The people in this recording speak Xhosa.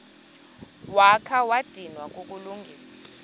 wakha wadinwa kukulungisa